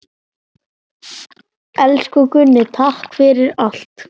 Elsku Gunni, takk fyrir allt.